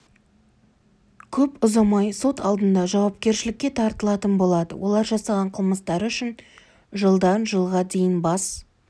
көп ұзамай сот алдында жауапкершілікке тартылатын болады олар жасаған қылмыстары үшін жылдан жылға дейін бас